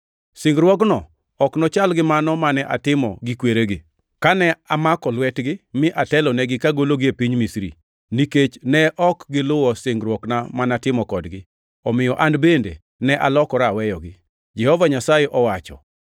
Singruokno ok nochal gi mano mane atimo gi kweregi, kane amako lwetgi mi atelonegi kagologi e piny Misri, nikech ne ok giluwo singruokna ma natimo kodgi omiyo an bende ne alokora aweyogi, Jehova Nyasaye owacho.